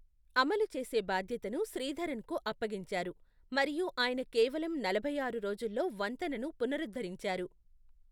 అమలు చేసే బాధ్యతను శ్రీధరన్కు అప్పగించారు మరియు ఆయన కేవలం నలభై ఆరు రోజుల్లో వంతెనను పునరుద్ధరించారు.